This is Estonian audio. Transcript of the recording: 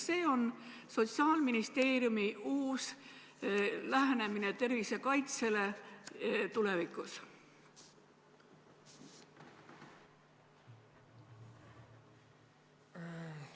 Kas see on Sotsiaalministeeriumi uus lähenemine tervisekaitsele tulevikus?